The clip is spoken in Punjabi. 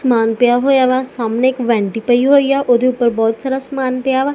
ਸਮਾਨ ਪਿਆ ਹੋਇਆ ਵਾ ਸਾਹਮਣੇ ਇਕ ਵੈਂਟੀ ਪਈ ਹੋਈ ਆ ਉਹਦੇ ਉੱਪਰ ਬਹੁਤ ਸਾਰਾ ਸਮਾਨ ਪਿਆ ਵਾ।